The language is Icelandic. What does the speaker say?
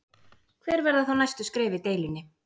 Hver verða þá næstu skref í deilunni?